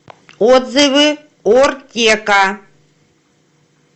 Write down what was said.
отзывы ортека